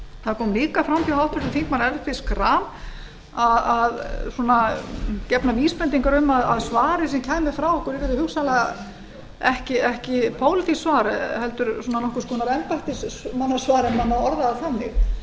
það kom líka fram hjá háttvirtum þingmanni ellerti b schram gefnar vísbendingar um að svarið sem kæmi frá ykkur yrði hugsanlega ekki pólitískt svar heldur svona nokkurs konar enda ef má orða það þannig þess vegna